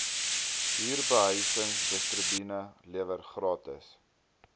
huurbehuisingstribunaal lewer gratis